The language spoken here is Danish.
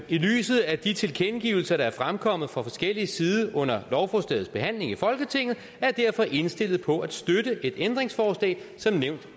i lyset af de tilkendegivelser der er fremkommet fra forskellig side under lovforslagets behandling i folketinget jeg derfor indstillet på at støtte et ændringsforslag som nævnt